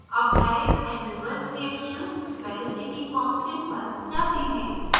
अब direct and reverse reactions velocity constant पर जाते हैं